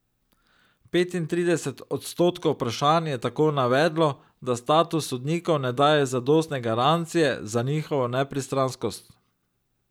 Petintrideset odstotkov vprašanih je tako navedlo, da status sodnikov ne daje zadostne garancije za njihovo nepristranskost.